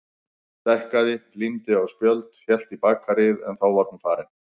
Stækkaði, límdi á spjöld, hélt í bakaríið en þá var hún farin.